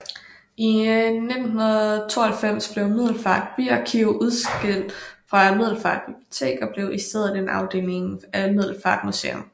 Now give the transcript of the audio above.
I 1992 blev Middelfart Byarkiv udskilt fra Middelfart Bibliotek og blev i stedet en afdeling af Middelfart Museum